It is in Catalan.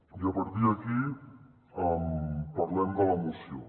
i a partir d’aquí parlem de la moció